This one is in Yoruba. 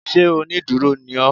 Ṣé onídúró ni ó